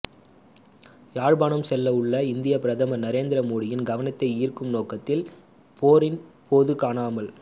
யாழ்ப்பாணம் செல்ல உள்ள இந்திய பிரதமர் நரேந்திர மோடியின் கவனத்தை ஈர்க்கும் நோக்கத்தில் போரின் போது காணாமல்